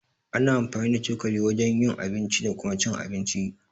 Ana amfani da cokali wajen yin abinci da Kuma cin abinci.